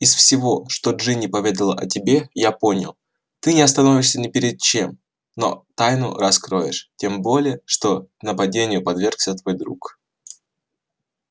из всего что джинни поведала о тебе я понял ты не остановишься ни перед чем но тайну раскроешь тем более что нападению подвергся твой друг